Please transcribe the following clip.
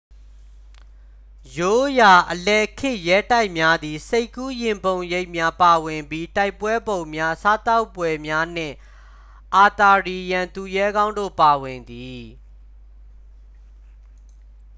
ရိုးရာ အလယ်ခေတ်ရဲတိုက်များသည် စိတ်ကူးယဉ်ပုံရိပ်များပါဝင်ပြီး တိုင်ပွဲပုံများ စားသောက်ပွဲများနှင့် အာသာရီယန်သူရဲကောင်းတို့ပါဝင်သည်